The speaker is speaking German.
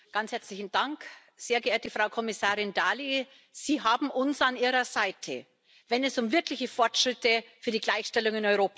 Frau Präsidentin! Sehr geehrte Frau Kommissarin Dalli, Sie haben uns an Ihrer Seite, wenn es um wirkliche Fortschritte für die Gleichstellung in Europa geht.